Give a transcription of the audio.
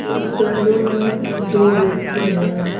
इस सैलून में दो व्यक्ति हैं।